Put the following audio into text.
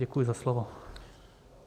Děkuji za slovo.